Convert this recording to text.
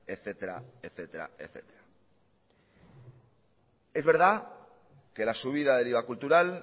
etcétera es verdad que la subida del iva cultural